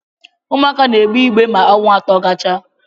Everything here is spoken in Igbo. Ụmụaka na-egbe ibe ma ọnwa atọ gachaa